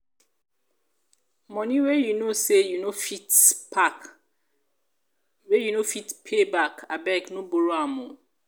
money wey you know say you no fit pack wey no fit pay back abeg no borrow am o